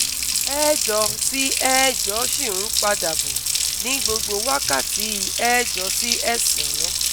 ẹẹ́jọ sì ẹẹ́jọ sì ń padà bọ̀ ní gbogbo wákàtí ẹẹ́jọ sí ẹẹ́sà-án.